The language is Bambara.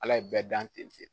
Ala ye bɛɛ dan ten .